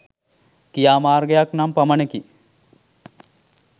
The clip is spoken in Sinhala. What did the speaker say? ක්‍රියාමාර්ගයක් නම් පමණකි.